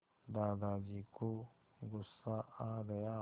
दादाजी को गुस्सा आ गया